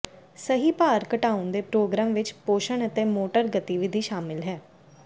ਸਹੀ ਭਾਰ ਘਟਾਉਣ ਦੇ ਪ੍ਰੋਗਰਾਮ ਵਿੱਚ ਪੋਸ਼ਣ ਅਤੇ ਮੋਟਰ ਗਤੀਵਿਧੀ ਸ਼ਾਮਲ ਹੈ